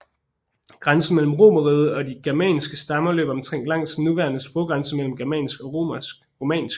Grænsen mellem romerriget og de germanske stammer løb omtrent langs den nuværende sproggrænse mellem germansk og romansk